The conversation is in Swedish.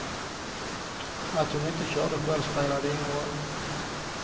Att hon inte körde själv spelade ingen roll.